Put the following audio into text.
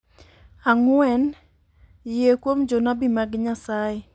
Ang'wen, Yie Kuom Jonabi mag Nyasaye.